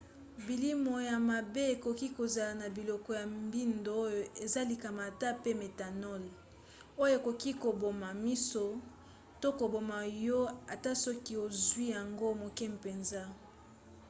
bilimo ya mabe ekoki kozala na biloko ya mbindo oyo eza likama ata pe méthanol oyo ekoki koboma miso to koboma yo ata soki ozwi yango moke mpenza